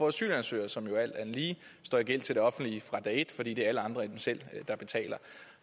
asylansøgere som alt andet lige står i gæld til de offentlige fra dag et fordi det er alle andre end dem selv der betaler